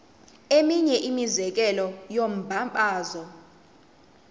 eminye imizekelo yombabazo